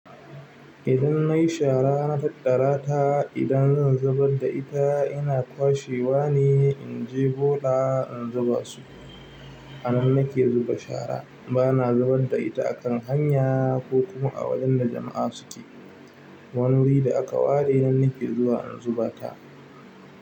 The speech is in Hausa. Idan nayi shara na tattara ta, idan zan zubar da ita ina kwashe wa ne in je bola in zuba su. Anan nake zuba shara bana zubar da ita a kan hanya ko kuma a wajen da jama'a suke. Wani wuri da aka ware nan nake zuwa in zuba ta.